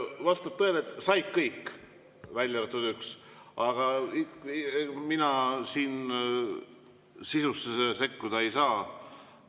Eks vastab tõele, et said kõik, välja arvatud üks, aga mina siin sisusse sekkuda ei saa.